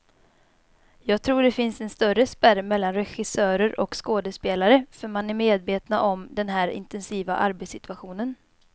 Jag tror det finns en större spärr mellan regissörer och skådespelare, för man är medvetna om den här intensiva arbetssituationen.